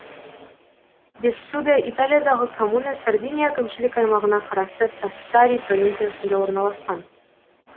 бессуде италиядағы коммуна сардиния әкімшілік аймағына қарасты сассари провинциясында орналасқан